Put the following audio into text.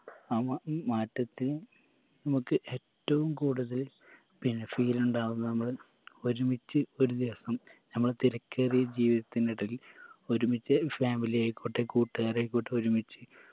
ആ മാ മാറ്റത്തിന് നമക്ക് ഏറ്റവും കൂടുതല് പിന്ന feel ഉണ്ടാവുക നമ്മള് ഒരുമിച്ച് ഒരു ദിവസം നമ്മളെ തെരക്കേറിയ ജീവിതത്തിനിടയിൽ ഒരുമിച്ച് ഒരു family ആയിക്കോട്ടെ കൂട്ടുകാരായിക്കോട്ടെ ഒരുമിച്ച്